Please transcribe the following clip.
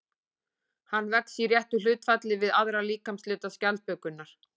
Hann vex í réttu hlutfalli við aðra líkamshluta skjaldbökunnar.